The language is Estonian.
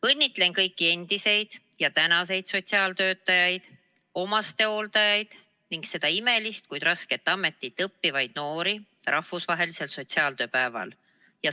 Õnnitlen kõiki endiseid ja tänaseid sotsiaaltöötajaid, omastehooldajaid ning seda imelist, kuid rasket ametit õppivaid noori rahvusvahelisel sotsiaaltööpäeval.